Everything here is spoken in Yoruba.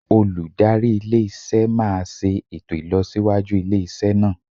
Olùdarí ilé iṣẹ́ máa ṣe ètò ìlọsíwájú ilé iṣẹ́ náà.